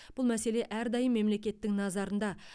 бұл мәселе әрдайым мемлекеттің назарында